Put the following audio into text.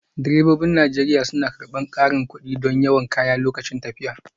Direbobin Najeriya suna karɓar ƙarin kuɗi don yawan kaya lokacin tafiya